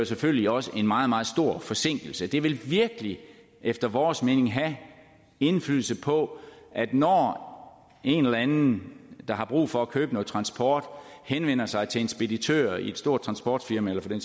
selvfølgelig også en meget meget stor forsinkelse det vil virkelig efter vores mening have indflydelse på at når en eller anden der har brug for at købe noget transport henvender sig til en speditør i et stort transportfirma eller for den